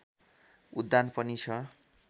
उद्धान पनि छ